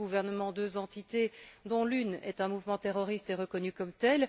Deux gouvernements, deux entités dont l'une est un mouvement terroriste et reconnu comme tel